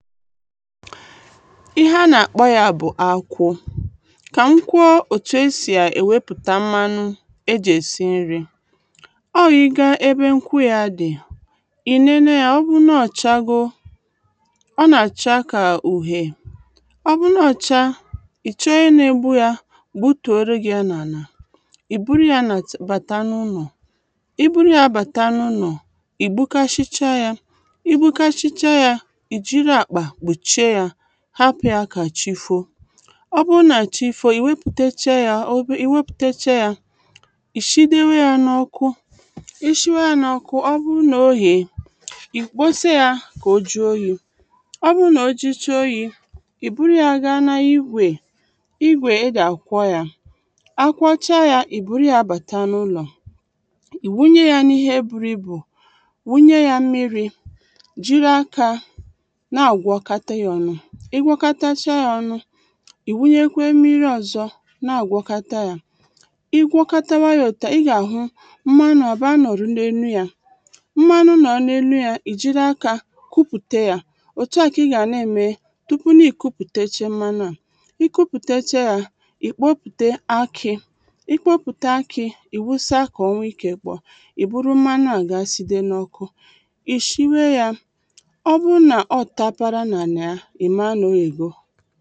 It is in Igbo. ihe a nà-àkpọ ya bụ̀ akwụ Kà m kwo òtù e sì èwepùta mmalụ̄ e jị̀ èsi nrī ọ yi gaa ebe nkwụ ya dị̀ ị̀ lele ya ọbụrụ̄ n’ọchagō ọ nà-àcha kà ùhè ọbụrụ n’ọchā ị̀chọọ onye na-egbu ya gbutorū gị ya n’àlà ìburu ya nà ǹtì bàta n’ụlọ̀ iburu ya bàta n’ulọ̀ ìgbukasicha ya igbukasicha ya ìjiri àkpà kpùchie ya hapụ̀ ya kà chifoo ọbụrụ nà chifoo ìwepùtechia ya ị̀shịdewe ya n’ọkwụ ishiwa ya n’ọkwụ ọbụrụ n’oyie ị̀kposi ya kà ojuo oyī ọbụrụ nà ojucha oyī ìburu ya gaa n’igwè igwè ejì àkwọ ya a kwọcha ya ìburu ya bàta n’ụlọ̀ ìwunye ya n’ihe buru ibù wunye ya mmirī jịrị akā na-àgwọkata ya ọnụ ịgwọkatacha ya ọnụ ìwunyekwe mmiri ọzọ̄ na-àgwọkata ya ị gwọkatawa ya òtua ị gà-àhụ mmalụ̄ àba lọ̀ru n’elu ya mmalu lọ̀ò n’elu ya ìjiri aka kupùte ya òtua kà ị gàna ème tupu n’ikupùteche mmalụa ikupùteche ya ìkpopùte aki ikpopùte aki ìwusa kà onwe ikē kpọọ ìburu mmalua gaa side n’ọkụ ìshiwe ya ọbụrụlà ọtapara n’àlìya ìma nà oyègo